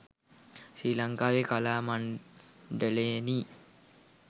ශ්‍රී ලංකාවේ කලා මණ්ඩලයෙනි.